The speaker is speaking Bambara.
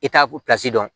I t'a dɔn